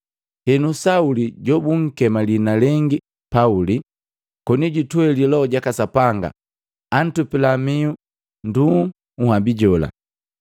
Henu, Sauli jobunkema liina lengi Pauli, koni jutweli Loho jaka Sapanga, antupila mihu nduuu nhabi jola,